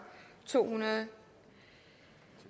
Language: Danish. to hundrede